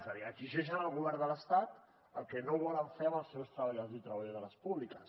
és a dir exigeixen al govern de l’estat el que no volen fer amb els seus treballadors i treballadores públiques